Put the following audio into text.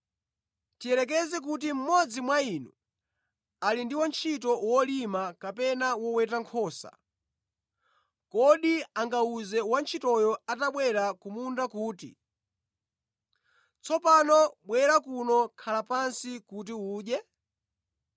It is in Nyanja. “Tiyerekeze kuti mmodzi mwa inu anali ndi wantchito wolima kapena woweta nkhosa, kodi angawuze wantchitoyo atabwera ku munda kuti, ‘Tsopano bwera kuno khala pansi kuti udye?’